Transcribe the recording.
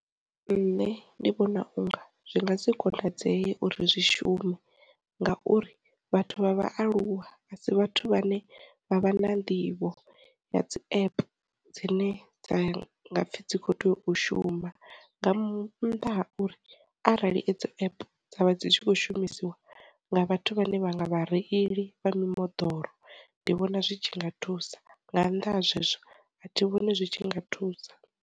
Nṋe ndi vhona unga zwi ngasi konadzeye uri zwi shume ngauri, vhathu vha vhaaluwa a si vhathu vhane vha vha na nḓivho ya dzi app dzine dza nga pfhi dzi kho tea u shuma, nga m nnḓa ha uri arali dzi app dza vha dzi tshi kho shumisiwa nga vhathu vhane vha nga vha reili vha mimoḓoro, ndi vhona zwi tshi nga thusa nga, nnḓa ha zwezwo a thi vhoni zwi tshi nga thusa.